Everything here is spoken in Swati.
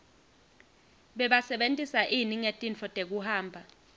bebasebentisa ini ngetintfo tekuhamba